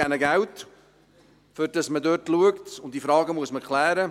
Wir geben ihnen Geld, damit man dort schaut, und diese Fragen muss man klären.